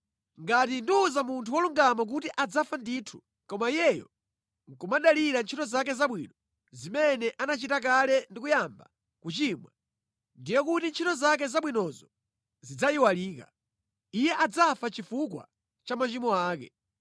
Ngati ndiwuza munthu wolungama kuti adzafa ndithu, koma iyeyo nʼkumadalira ntchito zake zabwino zimene anachita kale ndi kuyamba kuchimwa, ndiye kuti ntchito zake zabwinozo zidzayiwalika. Iye adzafa chifukwa cha machimo ake.